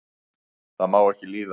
það má ekki líða